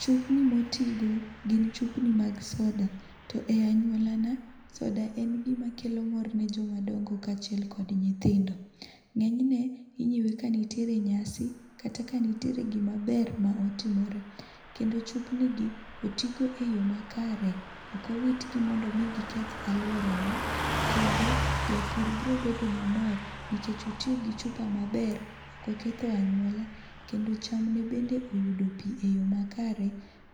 Chupni motigo gin chupni mag soda to e anyuolana soda en gima mor ne joma dongo kod nyithindo. Ng'enyne inyiewo ka nitiere nyasi kata ka nitiere gima ber motimore kendo chupni gi otii go eyo makare .Ok owitgi mondo giketh aluorawa kendo japur biro bedo mamor nikech otiyo gi chupa maber ok oketho anyuola kendo chamne bende oyudo pii eyoo makare,